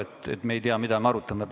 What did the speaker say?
Kuidas me ei tea, mida me arutame?